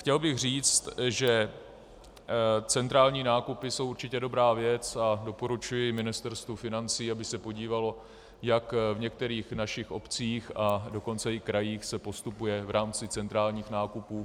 Chtěl bych říct, že centrální nákupy jsou určitě dobrá věc, a doporučuji Ministerstvu financí, aby se podívalo, jak v některých našich obcích, a dokonce i krajích se postupuje v rámci centrálních nákupů.